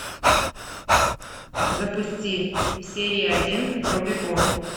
запусти серия один рубикон